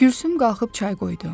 Gülsüm qalxıb çay qoydu.